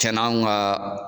Cɛn nanw ka